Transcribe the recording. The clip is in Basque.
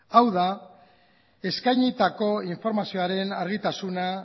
hau da eskainitako informazioaren argitasuna